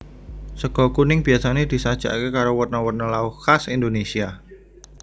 Sega kuning biasa disajèkaké karo werna werna lawuh khas Indonésia